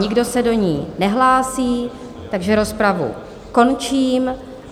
Nikdo se do ní nehlásí, takže rozpravu končím.